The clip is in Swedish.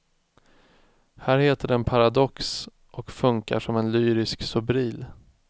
Här heter den paradox och funkar som en lyrisk sobril.